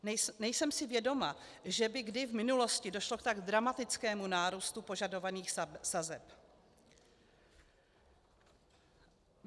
Nejsem si vědoma, že by kdy v minulosti došlo k tak dramatickému nárůstu požadovaných sazeb.